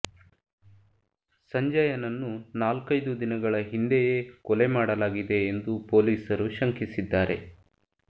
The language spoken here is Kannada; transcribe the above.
ಸಂಜಯನನ್ನು ನಾಲ್ಕೈದು ದಿನಗಳ ಹಿಂದೆಯೇ ಕೊಲೆ ಮಾಡಲಾಗಿದೆ ಎಂದು ಪೊಲೀಸರು ಶಂಕಿಸಿದ್ದಾರೆ